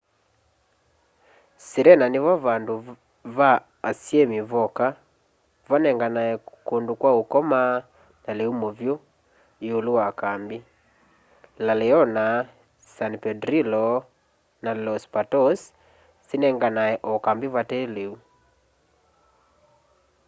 sirena nivo vandũ va asyĩmi voka vanenganae kũndũ kwa ũkoma na lĩu mũvyũ ĩũlũ wa kambĩ la leona san pedrillo na los patos sinenganae o kambĩ vataĩ lĩu